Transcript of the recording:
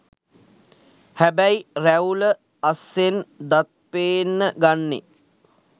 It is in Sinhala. හැබැයි රැවුල අස්සෙන් දත් පේන්න ගන්නෙ